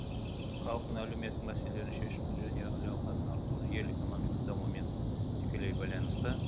халықтың әлеуметтік мәселелерін шешу және әл ауқатын арттыру ел экономикасының дамуымен тікелей байланысты